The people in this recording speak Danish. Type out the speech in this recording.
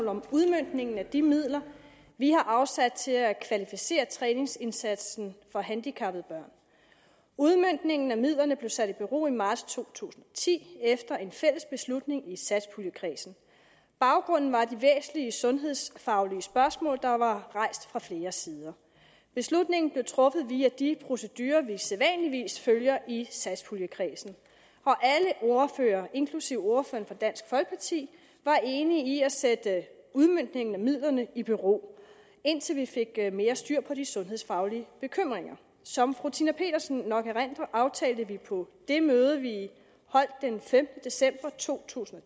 om udmøntningen af de midler vi har afsat til at kvalificere træningsindsatsen for handicappede børn udmøntningen af midlerne blev sat i bero i marts to tusind og ti efter en fælles beslutning i satspuljekredsen baggrunden var de væsentlige sundhedsfaglige spørgsmål der var rejst fra flere sider beslutningen blev truffet via de procedurer vi sædvanligvis følger i satspuljekredsen og alle ordførere inklusive ordføreren for dansk folkeparti var enige i at sætte udmøntningen af midlerne i bero indtil vi fik mere styr på de sundhedsfaglige bekymringer som fru tina petersen nok erindrer aftalte vi på det møde vi holdt den femtende december to tusind